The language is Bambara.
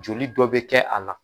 Joli dɔ bɛ kɛ a la.